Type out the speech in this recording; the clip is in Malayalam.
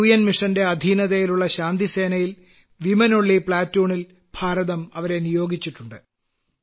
ഐക്യരാഷ്ട്ര ദൌത്യത്തിന്റെ അധീനതയിലുള്ള ശാന്തിസേനയിലെ വനിതാ പ്ലാറ്റൂണിൽ ഭാരതം അവരെ നിയോഗിച്ചിട്ടുണ്ട്